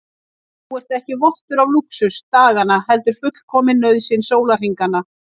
Þú ert ekki vottur af lúxus daganna heldur fullkomin nauðsyn sólarhringanna.